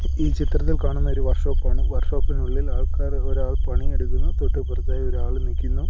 ഈ ചിത്രത്തിൽ കാണുന്ന ഒരു വർഷോപ്പ് ആണ് വർഷോപ്പിനുള്ളിൽ ആൾക്കാർ ഒരാൾ പണിയെടുക്കുന്നു തൊട്ടിപ്പുറത്തായി ഒരാള് നിക്കുന്നു.